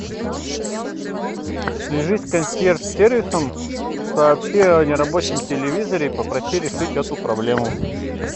свяжись с консьерж сервисом сообщи о нерабочем телевизоре и попроси решить эту проблему